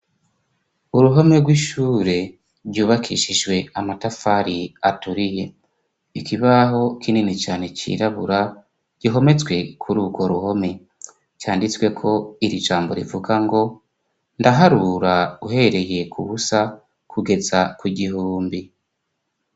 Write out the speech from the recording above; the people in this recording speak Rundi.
Uruhome rw'ishure ryubakishijwe amatafari aturiye, ikibaho kinini cane cirabura gihometswe kur'ugo ruhome, canditsweko iri jambo rivuga ngo: ndaharura uhereye k'ubusa kugeza ku gihumbi.